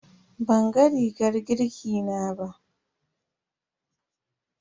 Banga rigar girki na ba.